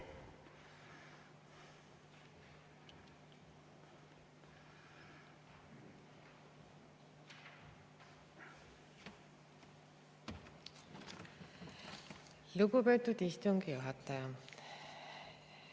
Lugupeetud istungi juhataja!